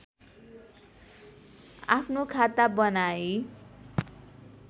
आफ्नो खाता बनाई